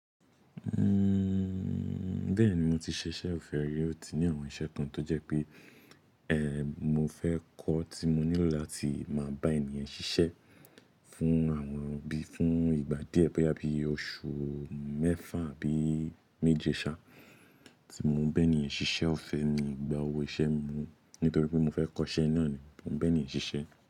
Uhm, bẹ́ẹ̀ni, mo ti ṣẹ̀ṣẹ̀ fẹ́ rí, ó ti ní àwọn iṣẹ́ kan tó jẹ́ pé, eh, mo fẹ́ kọ́ tí mo nílò láti máa bá ènìyàn ṣiṣẹ́ fún àwọn bí i fún ìgbà díẹ̀ bo yá bí i oṣù mẹ́fà àbí méje ṣà, tí mo ń bá ẹni yẹn ṣiṣẹ́, ọ̀fẹ́ mí ìgbà owó iṣẹ́ mi mọ́ nítorí pé mo fẹ́ kọ́ iṣẹ́ náà ni mo ń bá ènìyẹn ṣiṣẹ́.